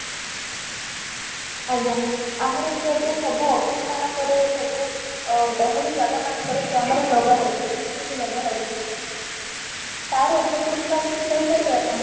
ଆଜ୍ଞା , ଆମର ଯୋଉ ଏବେ ସବୁ office ମାନଙ୍କରେ ସବୁ ଅ ଗହଳି ଜାଗା ମାନ ଙ୍କରେ camera ଲଗା ହଉଛି CCTV ଲଗା ହଉଚି ତାର ଉପଯୋଗୀତା କିଛି କହି ପାରିବେ ଆପଣ ?